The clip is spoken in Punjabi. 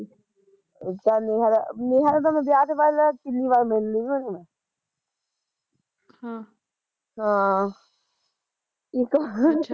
ਚੱਲ ਫਿਰ ਨੇਹਾ ਦਾ ਤਾਂ ਮੈਂ ਵਿਆਹ ਤੇ ਬਾਦ, ਕਿੰਨੀ ਵਾਰ ਮਿਲ ਲੀ ਵੀ ਓਹਨੂੰ ਮੈਂ ਹਮ ਹਾਂ ਇੱਕ ਵਾਰ